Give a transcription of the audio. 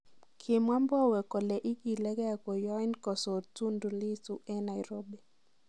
Kimwaa Mbowe kole igilegei koyoing' kosor Tundu Lissu en Nairobi.